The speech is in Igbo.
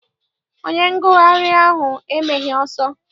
Onye ngụgharị ahụ emeghị ọsọ.